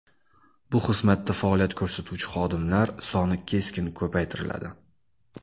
Bu xizmatda faoliyat ko‘rsatuvchi xodimlar soni keskin ko‘paytiriladi.